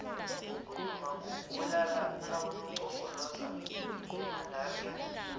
ukuduma kubulala abonompopoloza bemalaxia